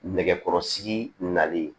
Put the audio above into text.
Nɛgɛkɔrɔsigi nalen